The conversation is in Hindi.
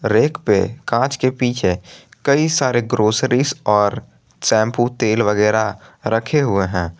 बैक पे कांच के पीछे कई सारे ग्रोसरीज और शैंपू तेल वगैरा रखे हुए हैं।